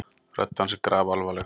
Rödd hans er grafalvarleg.